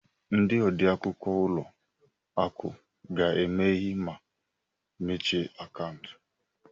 Ndị odeakwụkwọ ụlọ akụ ga-emeghe ma mechie akaụntụ.